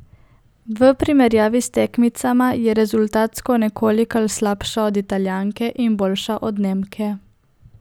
V primerjavi s tekmicama je rezultatsko nekolikanj slabša od Italijanke in boljša od Nemke.